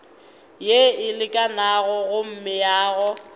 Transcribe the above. yeo e lekanego go meago